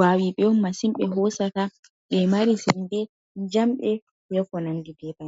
wawi ɓe on masin ɓe hosata ɓe mari sembe, nyamɓe, konandi be bannin.